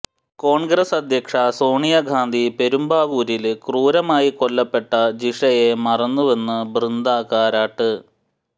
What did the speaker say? കോണ്ഗ്രസ് അധ്യക്ഷ സോണിയാഗാന്ധി പെരുമ്പാവൂരില് ക്രൂരമായി കൊല്ലപ്പെട്ട ജിഷയെ മറന്നുവെന്ന് ബൃന്ദകാരാട്ട്